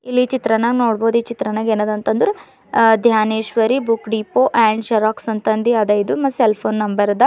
ಇಲ್ಲಿ ಚಿತ್ರಾನಾಗ್ ನೋಡ್ಬೊದು ಈ ಚಿತ್ರಾನಾಗ ಏನಾದ ಅಂತ ಅಂದ್ರ್ ಅ Dhaneshwari book depot and xerox ಅಂತ ಅಂದಿ ಅದ ಇದು ಮತ್ತು ಸೆಲ್ಫೊನ ನಂಬರ್ ಅದ.